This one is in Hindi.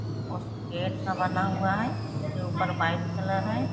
कुछ गेट सा बना हुआ है उसके ऊपर वाइट कलर है।